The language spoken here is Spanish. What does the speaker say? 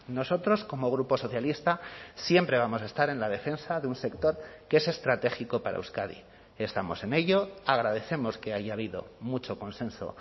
nosotros como grupo socialista siempre vamos a estar en la defensa de un sector que es estratégico para euskadi estamos en ello agradecemos que haya habido mucho consenso